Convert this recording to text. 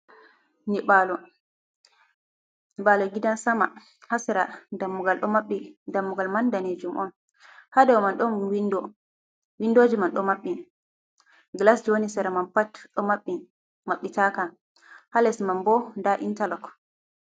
Nyiɓalo nyiɓalo gidan sama ha sera dammugal ɗo maɓɓi dammugal man danejum on ha daw man don windoji ɗo maɓɓi gilas wani maɓbitaka ha les ma ɓo da intarlok.